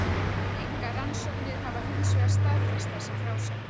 Engar rannsóknir hafa hinsvegar staðfest þessar frásagnir.